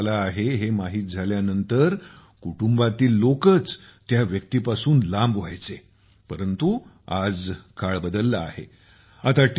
झाला आहे हे माहित झाल्यानंतर कुटुंबातील लोकच त्या व्यक्तीपासून लांब व्हायचे परंतु आज काळ बदलला आहे आता टी